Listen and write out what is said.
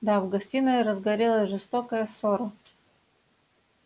да в гостиной разгорелась жестокая ссора